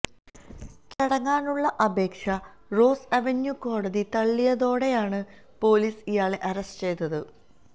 കീഴടങ്ങാനുള്ള അപേക്ഷ Rouse Avenue കോടതി തള്ളിയതോടെയാണ് പൊലീസ് ഇയാളെ അറസ്റ്റ് ചെയ്തത്